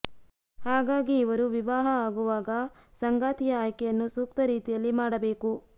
ಹಾಗಾಗಿ ಇವರು ವಿವಾಹ ಆಗುವಾಗ ಸಂಗಾತಿಯ ಆಯ್ಕೆಯನ್ನು ಸೂಕ್ತ ರೀತಿಯಲ್ಲಿ ಮಾಡಬೇಕು